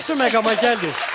Yaxşı məqama gəldiniz.